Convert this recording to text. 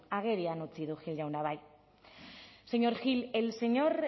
agerian utzi du gil jaunak bai señor gil el señor